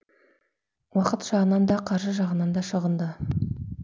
уақыт жағынан да қаржы жағынан да шығынды